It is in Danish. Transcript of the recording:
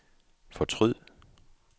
fortryd